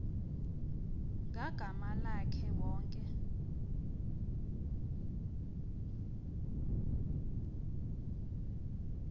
ngagama lakhe wonke